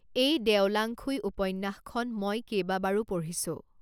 এই দেও লাঙখুই উপন্যাসখন মই কেইবাবাৰো পঢ়িছোঁ